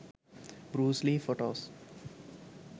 bruce lee photos